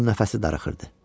Onun nəfəsi darıxdı.